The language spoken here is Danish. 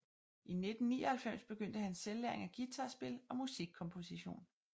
I 1999 begyndte han selvlæring af guitar spil og musik komposition